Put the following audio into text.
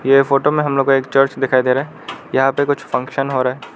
यह फोटो में हम लोग को एक चर्च दिखाई दे रहा है यहां पे कुछ फंक्शन हो रहा है।